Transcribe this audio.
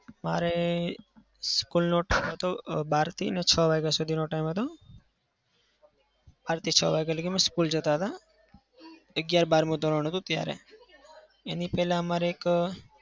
મારે school નો time હતો બારથી ને છ વાગ્યા સુધીનો time હતો. બારથી છ વાગ્યા લગી અમે school જતા હતા. અગિયાર-બારમું ધોરણ હતું ત્યારે. એની પહેલ મારે એક